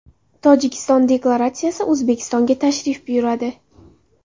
Tojikiston delegatsiyasi O‘zbekistonga tashrif buyuradi.